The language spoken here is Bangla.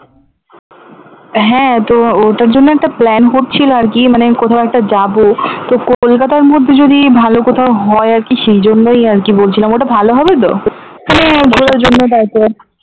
হ্যাঁ তো ওটার জন্য একটা plan করছিলাম আরকি মানে কোথাও একটা যাবো তো কলকাতার মধ্যে যদি ভালো কোথাও হয় আরকি সেই জন্যই আরকি বলছিলাম ওটা ভালো হবে তো?